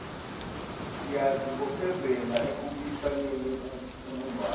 siyazibophezela ekubuyisaneni kubumbano